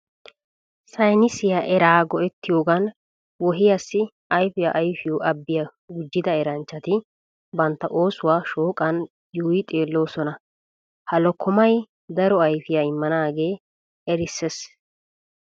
Saynnisiya eraa go'ettiyoogan wohiyassi ayfiya ayfiyo abbiya gujjida eranchchati bantta oosuwa shooqan yuuyi xeelloosona. Ha lokkomay daro ayfiya immanaagee erissees.